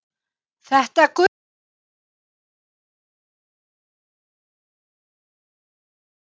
Þetta gull okkar, hvað getur maður sagt og hvar á maður að byrja?